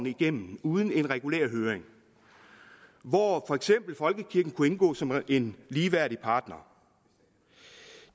igennem uden en regulær høring hvor for eksempel folkekirken kunne indgå som en ligeværdig partner